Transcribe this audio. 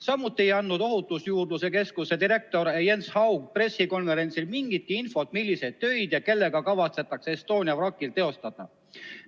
Samuti ei andnud Ohutusjuurdluse Keskuse direktor Jens Haug pressikonverentsil mingitki infot, milliseid töid ja kellega kavatsetakse Estonia vrakil teostada.